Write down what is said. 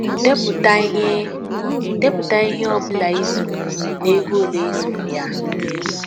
Depụta ihe Depụta ihe ọ bụla ị zụrụ na ego ole ị zụrụ ya.